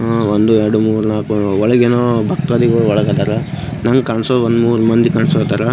ಆಕಾಶ ಕಾಣಿಸುತ್ತಿದೆ. ಆ ಬಿಲ್ಡಿಂಗ್ ಗೆ ಕೇಸರಿ ಮತ್ತು ಹಸಿರು ಬಣ್ಣಾ .